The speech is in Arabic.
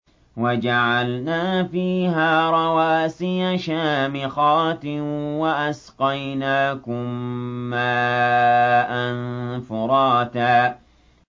وَجَعَلْنَا فِيهَا رَوَاسِيَ شَامِخَاتٍ وَأَسْقَيْنَاكُم مَّاءً فُرَاتًا